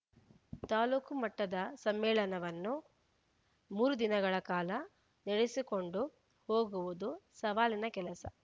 ತಾಲೂಕು ಮಟ್ಟದ ಸಮ್ಮೇಳನವನ್ನು ಮೂರು ದಿನಗಳ ಕಾಲ ನಡೆಸಿಕೊಂಡು ಹೋಗುವುದು ಸವಾಲಿನ ಕೆಲಸ